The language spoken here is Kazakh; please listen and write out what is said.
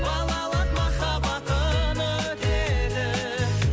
балалық махаббатым өтеді